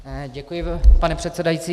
Děkuji, pane předsedající.